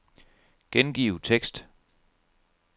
Gengiv tekst.